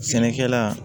Sɛnɛkɛla